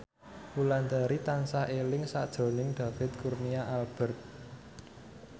Wulandari tansah eling sakjroning David Kurnia Albert